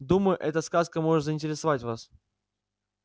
думаю эта сказка может заинтересовать вас